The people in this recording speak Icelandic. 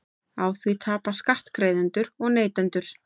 Á því tapa skattgreiðendur og neytendur